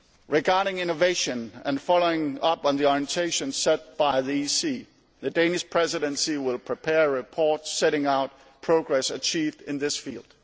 Regarding innovation and following up on the orientations set by the European Council, the Danish Presidency will prepare reports setting out progress achieved in this field.